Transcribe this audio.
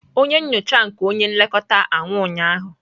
Onye nyocha nke onye nlekọta anwụ ụnyahụ.